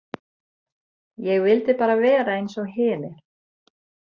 Ég vildi bara vera eins og hinir.